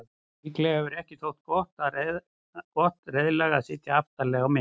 Líklega hefur ekki þótt gott reiðlag að sitja aftarlega á meri.